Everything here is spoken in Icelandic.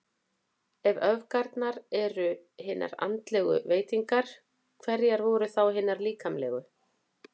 Ef öfgarnar voru hinar andlegu veitingar, hverjar voru þá hinar líkamlegu?